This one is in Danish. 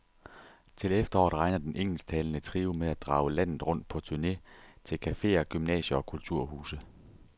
Til efteråret regner den engelsktalende trio med at drage landet rundt på turne til caféer, gymnasier og kulturhuse.